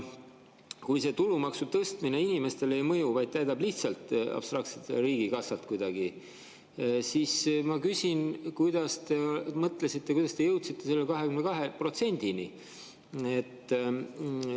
Kui see tulumaksu tõstmine inimestele ei mõju, vaid täidab lihtsalt abstraktselt riigikassat kuidagi, siis ma küsin: kuidas te mõtlesite, kuidas te jõudsite selle 22%-ni?